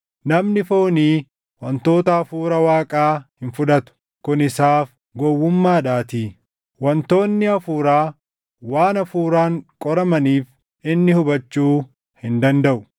Namni foonii wantoota Hafuura Waaqaa hin fudhatu; kun isaaf gowwummaadhaatii; wantoonni Hafuuraa waan Hafuuraan qoramaniif inni hubachuu hin dandaʼu.